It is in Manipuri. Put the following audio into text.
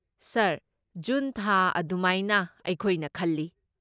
ꯁꯔ, ꯖꯨꯟ ꯊꯥ ꯑꯗꯨꯃꯥꯏꯅ ꯑꯩꯈꯣꯏꯅ ꯈꯜꯂꯤ꯫